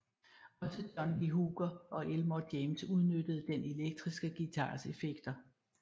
Også John Lee Hooker og Elmore James udnyttede den elektriske guitars effekter